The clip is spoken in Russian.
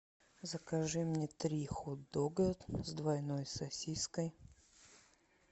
закажи мне три хот дога с двойной сосиской